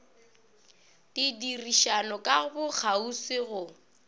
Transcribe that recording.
di dirišana ka bokgauswi go